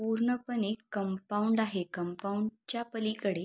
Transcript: पूर्ण पणे कंपाऊंड आहे कंपाऊंडच्या पलीकडे--